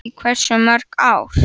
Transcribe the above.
Í hversu mörg ár?